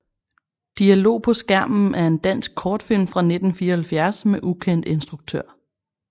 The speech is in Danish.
Dialog på skærmen er en dansk kortfilm fra 1974 med ukendt instruktør